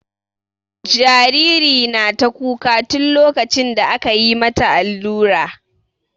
Jariri na ta kuka tun lokacin da aka mata allura.